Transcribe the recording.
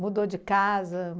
Mudou de casa?